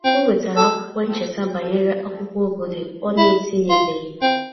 O nwetara akwụkwọ ncheta banyere akwụkwọ obodo ọ n'etinyebeghị